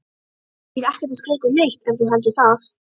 Ég er ekkert að skrökva neitt ef þú heldur það.